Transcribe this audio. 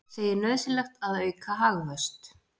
Segir nauðsynlegt að auka hagvöxt